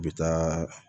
U bɛ taa